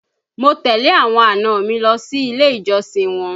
Mo tẹ̀lé àwọn àna mi lọ sí ilé ìjọsìn wọn